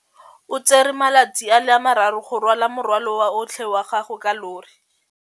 O tsere malatsi a le marraro go rwala morwalo otlhe wa gagwe ka llori.